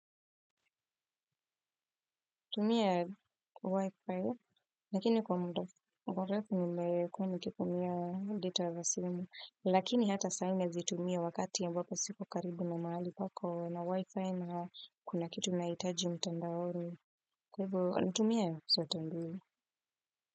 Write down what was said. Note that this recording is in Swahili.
Tumia Wi-Fi, lakini kwa mda mrefu nile kutumia data vasyumu, lakini hata saina zitumia wakati ya mbako siko karibu na mahali pako na Wi-Fi na kuna kitu naitaji mtandaoni. Kwa hivyo, nitumia sote ndiyo.